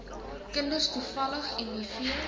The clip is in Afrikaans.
kinders toevallig miv